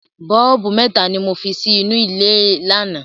Bọ́ọ̀bù mẹ́ta ni mo fi sí inú ilé lánàá.